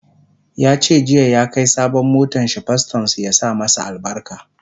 yace jiya ya Kai sabon motanshi pastorn su ya sa masa albarka